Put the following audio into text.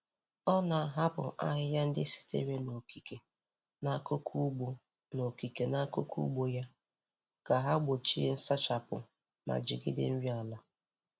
Ọ na-ahapụ ahịhịa ndị sitere n’okike n’akụkụ ugbo n’okike n’akụkụ ugbo ya, ka ha gbochie nsachapụ ma jigide nri ala.